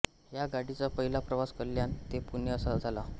ह्या गाडीचा पहिला प्रवास कल्याण ते पुणे असा झाला